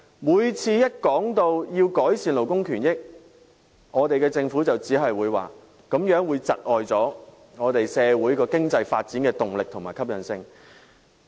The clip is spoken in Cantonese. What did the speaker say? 每當談及要改善勞工權益，便只會表示這樣會窒礙社會經濟發展的動力和吸引力。